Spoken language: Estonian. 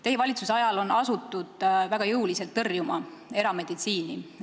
Teie valitsuse ajal on asutud väga jõuliselt erameditsiini tõrjuma.